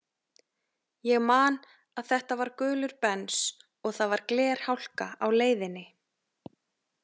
Ég man að þetta var gulur Bens og það var glerhálka á leiðinni.